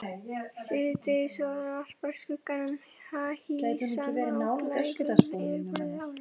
Síðdegissólin varpar skuggum háhýsanna á blágrænt yfirborð árinnar.